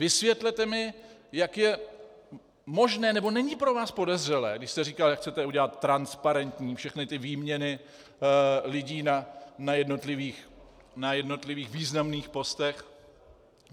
Vysvětlete mi, jak je možné - nebo není pro vás podezřelé, když jste říkal, jak chcete udělat transparentní všechny ty výměny lidí na jednotlivých významných postech.